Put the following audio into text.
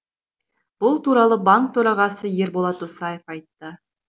бұл туралы банк төрағасы ерболат досаев айтты